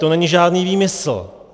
To není žádný výmysl.